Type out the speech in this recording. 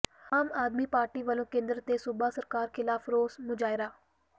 ਆਮ ਆਦਮੀ ਪਾਰਟੀ ਵਲੋਂ ਕੇਂਦਰ ਤੇ ਸੂਬਾ ਸਰਕਾਰ ਖਿਲਾਫ਼ ਰੋਸ ਮੁਜ਼ਾਹਰਾ